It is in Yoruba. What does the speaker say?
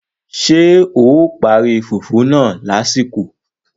Ṣé o parí fùfú náà lásìkò?